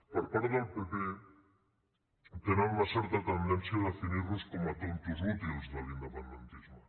per part del pp tenen una certa tendència a definirnos com a tontos útils de l’independentisme